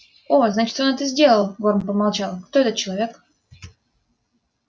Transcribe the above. о значит он это сделал горм помолчал кто этот человек